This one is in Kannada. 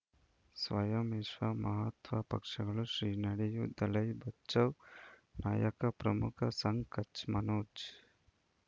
ಸ್ವಯಂ ವಿಶ್ವ ಮಹಾತ್ಮ ಪಕ್ಷಗಳು ಶ್ರೀ ನಡೆಯೂ ದಲೈ ಬಚೌ ನಾಯಕ ಪ್ರಮುಖ ಸಂಘ್ ಕಚ್ ಮನೋಜ್